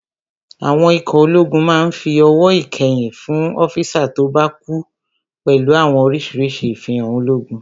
Àwọn ikọ̀ ológun máa n fi ọ̀wọ̀ ìkẹyìn fún ọ́físà tó bá kú pẹ̀lú àwọn orísirísi ifihan ológun